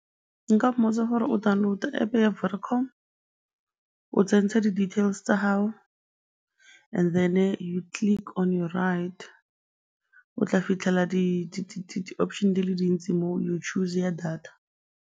Nka mmotsa gore o download-a App ya Vodacom, o tsentse di-details tsa gao and then-e you click on your right, o tla fitlhela di-option-e di le dintsi moo, you choose ya data.